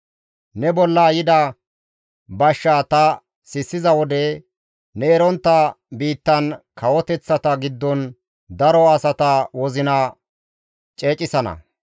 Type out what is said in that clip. «Ne bolla yida bashshaa ta sissiza wode ne erontta biittan kawoteththata giddon, daro asata wozina ceecisana.